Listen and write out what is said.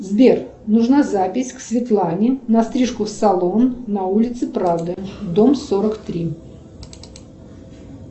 сбер нужна запись к светлане на стрижку в салон на улице правды дом сорок три